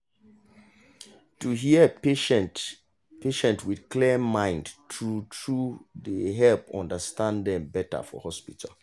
to hear patient patient with clear mind true true dey help understand dem better for hospital